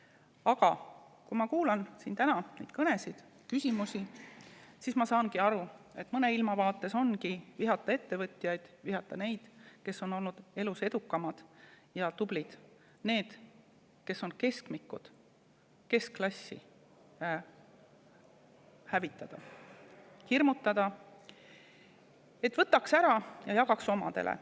Aga kui ma kuulan siin täna neid kõnesid ja küsimusi, siis ma saan aru, et mõnele ilmavaatele ongi vihata ettevõtjaid, vihata neid, kes on olnud elus edukamad ja tublid, neid, kes on keskmikud, keskklassi hävitada ja hirmutada, et võtaks ära ja jagaks omadele.